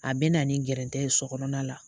A bɛ na ni gɛrɛtɛn ye so kɔnɔna la